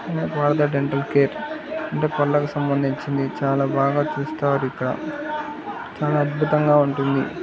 ఇది Partha dental care అంటే పళ్లకు సంబందించినది చాలా బాగా చుస్తారిక్కడ చాలా అద్భుతంగా ఉంటుంది.